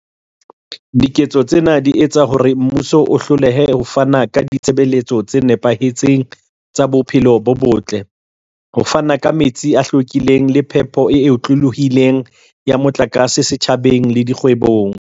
Diketso tsena di etsa hore mmuso o hlolehe ho fana ka ditshebeletso tse nepahetseng tsa bophelo bo botle, ho fana ka metsi a hlwekileng le phepelo e otlolohileng ya motlakase setjhabeng le dikgwebong.